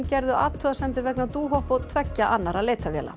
gerðu athugasemdir vegna Dohop og tveggja annarra leitarvéla